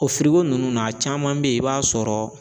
O nunnu na caman be yen i b'a sɔrɔ